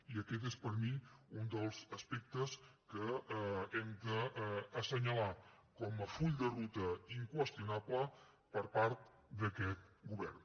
i aquest és per mi un dels aspectes que hem d’assenyalar com a full de ruta inqüestionable per part d’aquest govern